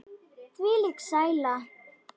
Þvílík sæla.